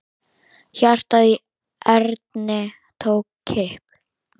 Hjartað í Erni tók kipp.